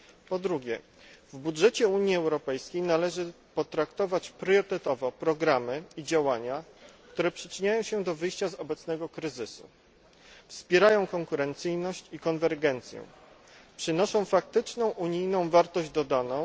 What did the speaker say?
Po drugie, w budżecie Unii Europejskiej należy potraktować priorytetowo programy i działania, które przyczyniają się do wyjścia z obecnego kryzysu, wspierają konkurencyjność i konwergencję, przynoszą faktyczną unijną wartość dodaną,